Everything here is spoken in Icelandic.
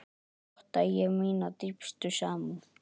Votta ég mína dýpstu samúð.